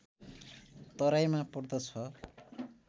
तराईमा पर्दछ